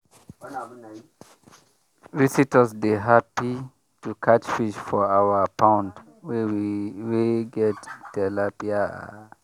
visitors dey happy to catch fish for our pond wey get tilapia.